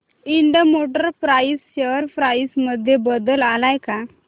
Ind motor parts share price मध्ये बदल आलाय का